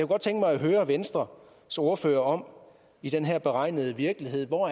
godt tænke mig at høre venstres ordfører om i den her beregnede virkelighed hvor